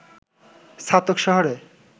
ছাতক শহরে